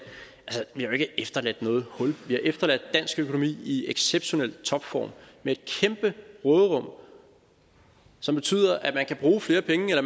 vi har jo ikke efterladt noget hul vi har efterladt dansk økonomi i exceptionel topform med et kæmpe råderum som betyder at man kan bruge flere penge eller